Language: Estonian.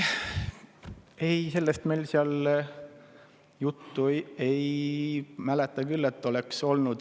Ei, sellest meil seal juttu, ei mäleta küll, et oleks olnud.